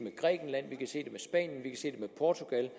med portugal